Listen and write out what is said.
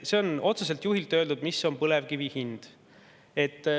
See on otsese juhi öeldud, mis on põlevkivi hind.